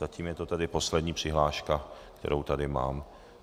Zatím je to tedy poslední přihláška, kterou tady mám.